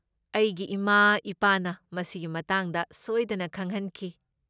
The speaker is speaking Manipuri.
ꯑꯩꯒꯤ ꯏꯃꯥ ꯏꯄꯥꯅ ꯃꯁꯤꯒꯤ ꯃꯇꯥꯡꯗ ꯁꯣꯏꯗꯅ ꯈꯪꯍꯟꯈꯤ꯫